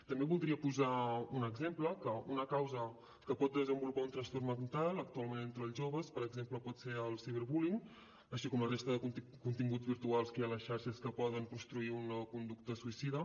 també voldria posar un exemple que una causa que pot desenvolupar un trastorn mental actualment entre els joves per exemple pot ser el cyberbullying així com la resta de continguts virtuals que hi ha a les xarxes que poden construir una conducta suïcida